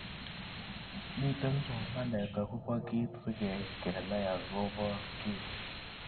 Mitei somanet akobo kiit sikeit kenai akobo ki.